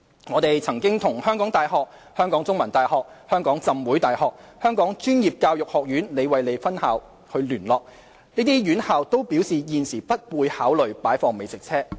我們曾與香港大學、香港中文大學、香港浸會大學、香港專業教育學院聯絡，這些院校均表示現時不會考慮擺放美食車。